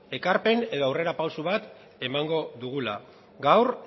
ekarpen edo aurrera pausu bat emango dugula gaur